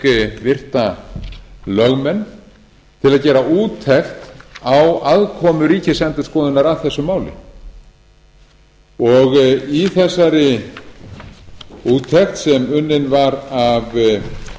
fékk virta lögmenn til að gera úttekt á aðkomu ríkisendurskoðunar að þessu máli í þessari úttekt sem unnin var af